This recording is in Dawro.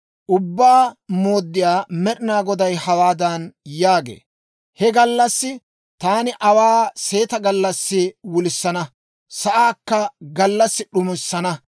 Ubbaa Mooddiyaa Med'inaa Goday hawaadan yaagee; «He gallassi taani aawaa seeta gallassi wulissana; sa'aakka gallassi d'umissana.